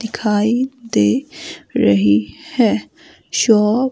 दिखाई दे रही है शॉप--